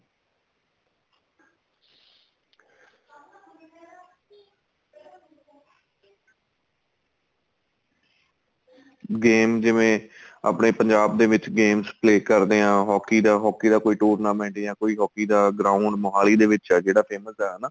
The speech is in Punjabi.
game ਜਿਵੇਂ ਆਪਣੇ ਪੰਜਾਬ ਦੇ ਵਿੱਚ games play ਕਰਦੇ ਆ hockey ਦਾ hockey ਦਾ ਕੋਈ tournament ਜਾਂ ਕੋਈ hockey ਦਾ ground ਮੋਹਾਲੀ ਦੇ ਵਿੱਚ ਏ ਜਿਹੜਾ famous ਏ ਹਨਾ